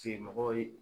mɔgɔ ye